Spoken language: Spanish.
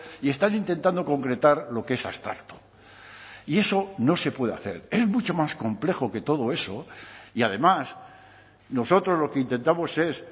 y están intentando concretar lo que es abstracto y eso no se puede hacer es mucho más complejo que todo eso y además nosotros lo que intentamos es